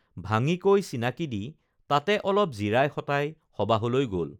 ভাঙি কৈ চিনাকী দি তাতে অলপ জিৰাই শঁতাই সবাহলৈ গল